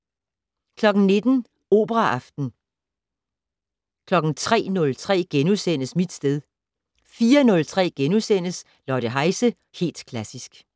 19:00: Operaaften 03:03: Mit sted * 04:03: Lotte Heise - Helt Klassisk *